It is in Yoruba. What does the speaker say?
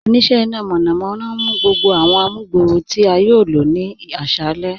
Oníṣẹ̀ ìná mọ̀nàmọ̀na ǹ mú gbogbo awọn àmùgbọ̀rọ̀ tí a yòò ní ilọ̀ ní àṣalẹ̀.